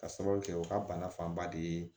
Ka sababu kɛ u ka bana fanba de ye